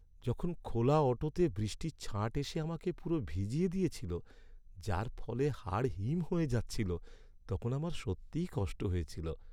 যখন খোলা অটোতে বৃষ্টির ছাঁট এসে আমাকে পুরো ভিজিয়ে দিয়েছিল, যার ফলে হাড় হিম হয়ে যাচ্ছিল, তখন আমার সত্যিই কষ্ট হয়েছিল।